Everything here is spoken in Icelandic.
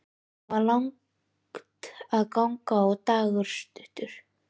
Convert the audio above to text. Það var langt að ganga og dagur stuttur.